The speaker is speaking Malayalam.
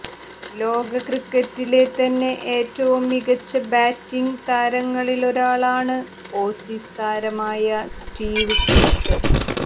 ലോകക്രിക്കറ്റിലെ തന്നെ ഏറ്റവും മികച്ച ബാറ്റിങ്ങ് താരങ്ങളിലൊരാളാണ് ഓസീസ് താരമായ സ്റ്റീവ് സ്മിത്ത്